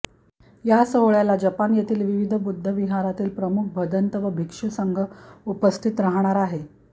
या सोहळ्याला जपान येथील विविध बुद्धविहारातील प्रमुख भदन्त व भिक्षूसंघ उपस्थित राहणार आहे